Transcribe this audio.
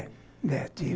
É, tive.